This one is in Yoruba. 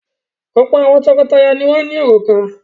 Ọ̀pọ̀ àwọn tọkọtaya ni wọ́n ní òrùka.